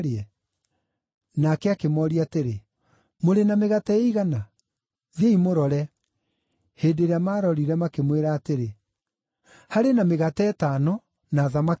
Nake akĩmooria atĩrĩ, “Mũrĩ na mĩgate ĩigana? Thiĩi mũrore.” Hĩndĩ ĩrĩa maarorire makĩmwĩra atĩrĩ, “Harĩ na mĩgate ĩtano, na thamaki igĩrĩ.”